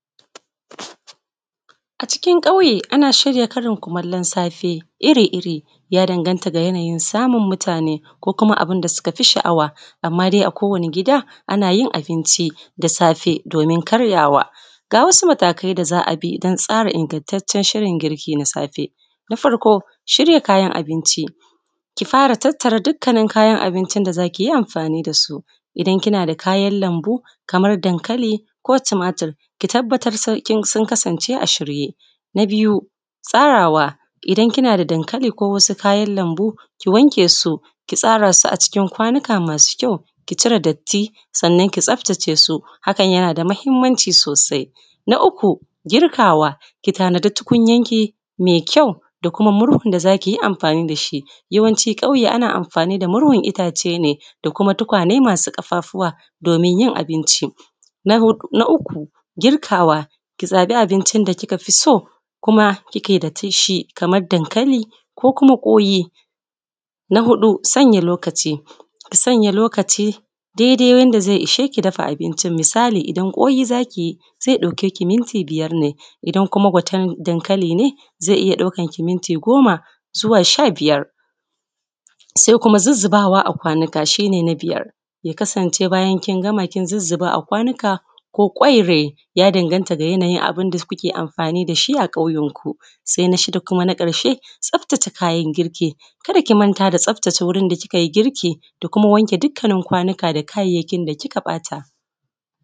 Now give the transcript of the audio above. A cikin ƙauye ana shirya karin kumallon safe iri-iri, ya danganta da yanayin samun mutane ko kuma abunda suka fi sha’awa, amma dai a kowani gida anayin abinci da safe domin karyawa ga wasu matakai da za a bi don tsara ingantaccen shirin girki na safe, na farko, shirya kayan abinci, ki fara tattara dukkanin kayan abincin da za kiyi amfani dasu, idan kina da kayan lambu ko tumatir, ki tabbatar sun kasance a shirye, na biyu, tsarawa, idan kina da dankali ko wasu kayan lambu, ki wanke su, ki tsara su acikin wasu kwanuka masu kyau, ki cire datti, sannan ki tsaftace su, hakan yana da muhimmanci sosai. Na uku, girkawa, ki tanadi tukunyar ki mai kyau, da kuma murhun da zakiyi amfani dashi, yawanci ƙauye ana amfani da murhun itace ne, da kuma tukwane masu ƙafafuwa domin yin abinci, na huɗu na uku, ki zaɓi abincin da kika fi so, kuma kike da tishi, kamar dankali ko kuma ƙwai, na huɗu, sanya lokaci, sanya lokaci dai-dai wanda zai isheki dafa abinci, misali idan ƙwai zakiyi zai ɗauke ki minti biyar ne, idan kuma gwaten dankali ne zai iya ɗaukar ki minti goma zuwa zuwa sha-biyar sai kuma zuzzubawa a kwanika, shi ne na biyar. ya kasance bayan kin gama, kin zuzzuba a kwanika kin zuzzuba a kwanika ko ƙwaire, ya danganta da yanayin abunda kuke amfani dashi a ƙauyen ku, sai na shida kuma na ƙarshe, tsaftace kayan girki, kada ki manta da tsaftace wurin da kika yi girki da kuma wanke dukkanin kwanika da kayayyakin da kika ɓata.